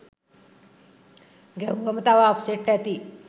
ගැහුවම තව අප්සෙට් ඇති.